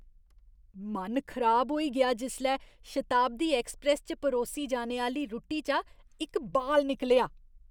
मन खराब होई गेआ जिसलै शताब्दी ऐक्सप्रैस्स च परोसी जाने आह्‌ली रुट्टी चा इक बाल निकलेआ।